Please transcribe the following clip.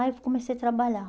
Aí eu comecei a trabalhar.